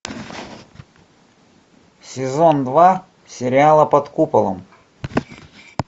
сезон два сериала под куполом